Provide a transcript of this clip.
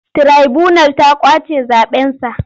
Tiraibunal ta ƙwace zaɓensa.